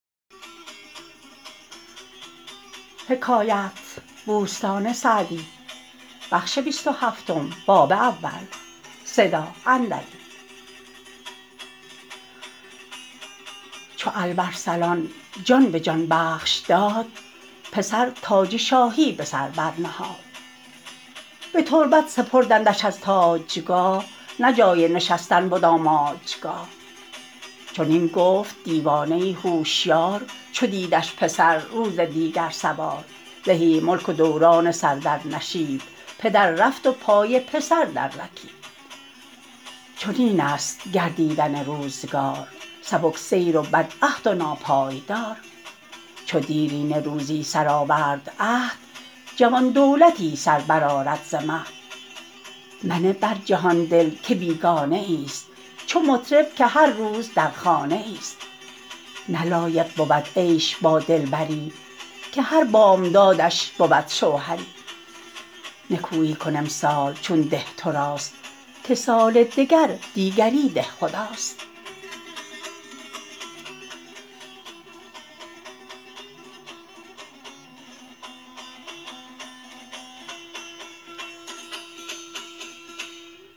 چو الب ارسلان جان به جان بخش داد پسر تاج شاهی به سر برنهاد به تربت سپردندش از تاجگاه نه جای نشستن بد آماجگاه چنین گفت دیوانه ای هوشیار چو دیدش پسر روز دیگر سوار زهی ملک و دوران سر در نشیب پدر رفت و پای پسر در رکیب چنین است گردیدن روزگار سبک سیر و بدعهد و ناپایدار چو دیرینه روزی سرآورد عهد جوان دولتی سر برآرد ز مهد منه بر جهان دل که بیگانه ای است چو مطرب که هر روز در خانه ای است نه لایق بود عیش با دلبری که هر بامدادش بود شوهری نکویی کن امسال چون ده تو راست که سال دگر دیگری دهخداست